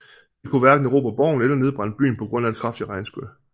De kunne hverken erobre borgen eller nedbrænde byen på grund af et kraftigt regnskyl